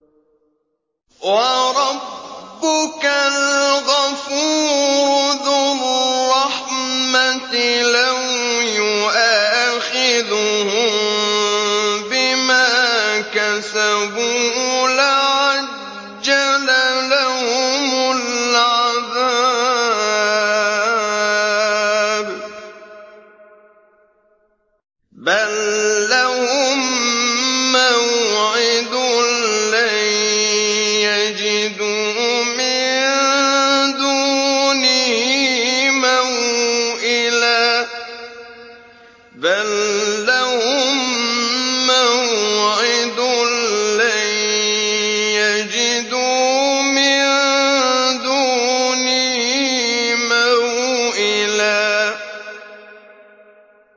وَرَبُّكَ الْغَفُورُ ذُو الرَّحْمَةِ ۖ لَوْ يُؤَاخِذُهُم بِمَا كَسَبُوا لَعَجَّلَ لَهُمُ الْعَذَابَ ۚ بَل لَّهُم مَّوْعِدٌ لَّن يَجِدُوا مِن دُونِهِ مَوْئِلًا